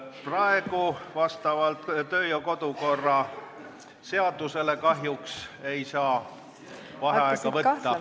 Praegu vastavalt kodu- ja töökorra seadusele kahjuks ei saa vaheaega võtta.